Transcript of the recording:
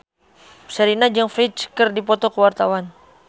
Sherina jeung Ferdge keur dipoto ku wartawan